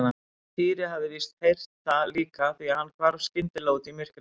Týri hafði víst heyrt það líka því hann hvarf skyndilega út í myrkrið.